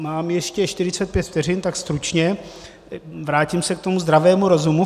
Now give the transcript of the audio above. Mám ještě 45 vteřin, tak stručně - vrátím se k tomu zdravému rozumu.